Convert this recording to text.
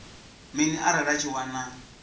mini arali a tshi wana